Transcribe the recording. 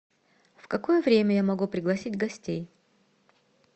в какое время я могу пригласить гостей